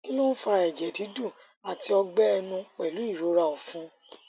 kí ló ń fa ẹjẹ dídùn àti ọgbẹ ẹnu pẹlú ìrora ọfun